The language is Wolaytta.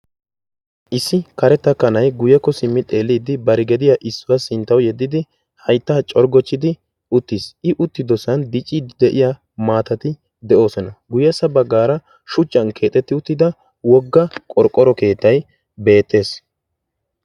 Issi karetta kanay guyyekko simmi xeeliidi barigediya issuwaa sinttau yeddidi haittaa corggochchidi uttiis. i utti dosan dici de'iya maatati de'oosona. guyyessa baggaara shuchcan keexetti uttida wogga qorqqoro keettai beettees.